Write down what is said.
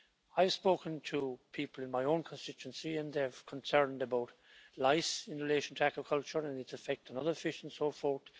I've spoken to people in my own constituency and they're concerned about lice in relation to aquaculture and its effect on other fish and so forth.